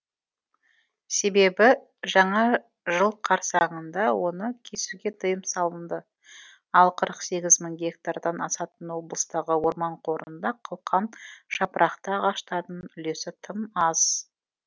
себебі жаңа жыл қарсаңында оны кесуге тыйым салынды ал қырық сегіз мың гектардан асатын облыстағы орман қорында қылқан жапырақты ағаштардың үлесі тым аз